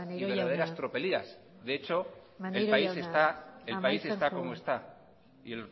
y verdaderas tropelías maneiro jauna de hecho el país está maneiro jauna amaitzen joan el país está como está y